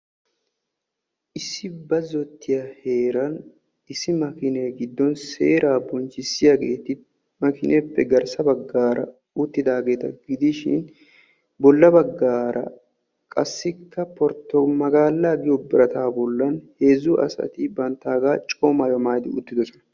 Issi bazzottiya heeran issi makiine giddon seera bonchchissiyaheeti makineeppe garssa baggaara uttidaageta gidishin bolla baggaara qassikka porto magaala giyo birataa bollan heezu asati banttaagaa coo maayuwa maayidi uttidosona.